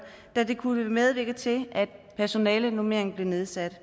da det kunne medvirke til at personalenormeringen blev nedsat